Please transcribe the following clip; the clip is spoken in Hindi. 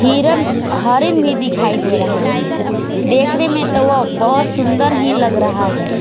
हिरन हरिन भी दिखाई दे रहा है देखने में तो वह बहोत सुंदर ही लग रहा है।